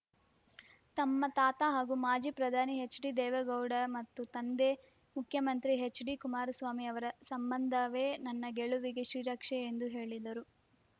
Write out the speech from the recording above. ತಮ್ಮ ತಾತ ಹಾಗೂ ಮಾಜಿ ಪ್ರಧಾನಿ ಹೆಚ್ಡಿ ದೇವೇಗೌಡ ಮತ್ತು ತಂದೆ ಮುಖ್ಯಮಂತ್ರಿ ಹೆಚ್ಡಿ ಕುಮಾರಸ್ವಾಮಿ ಅವರ ಸಂಬಂಧವೇ ನನ್ನ ಗೆಲುವಿಗೆ ಶ್ರೀರಕ್ಷೆ ಎಂದು ಹೇಳಿದರು